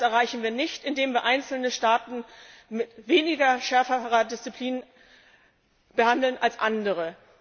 Und das erreichen wir nicht, indem wir einzelne Staaten mit weniger scharfer Disziplin behandeln als andere.